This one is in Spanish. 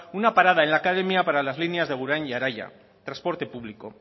una parada en la academia para las líneas de agurain y araia transporte público